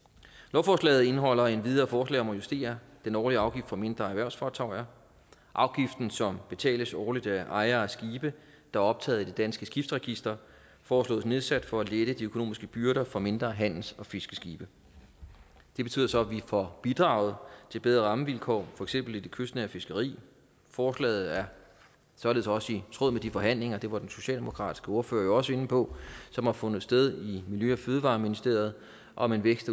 lovforslaget indeholder endvidere forslag om at justere den årlige afgift for mindre erhvervsfartøjer afgiften som betales årligt af ejere af skibe der er optaget i dansk internationalt skibsregister foreslås nedsat for at lette de økonomiske byrder for mindre handels og fiskeskibe det betyder så at vi får bidraget til bedre rammevilkår for eksempel det kystnære fiskeri forslaget er således også i tråd med de forhandlinger det var den socialdemokratiske ordfører jo også inde på som har fundet sted i miljø og fødevareministeriet om en vækst